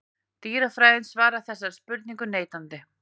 Dýrafræðin svarar þessari spurningu neitandi.